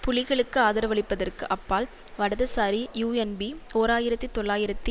புலிகளுக்கு ஆதரவளிப்பதற்கு அப்பால் வடதுசாரி யூஎன்பீ ஓர் ஆயிரத்தி தொள்ளாயிரத்தி